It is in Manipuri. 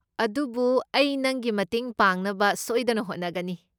ꯑꯗꯨꯕꯨ ꯑꯩ ꯅꯪꯒꯤ ꯃꯇꯦꯡ ꯄꯥꯡꯅꯕ ꯁꯣꯏꯗꯅ ꯍꯣꯠꯅꯒꯅꯤ꯫